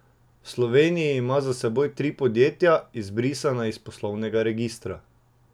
V Sloveniji ima za seboj tri podjetja, izbrisana iz poslovnega registra.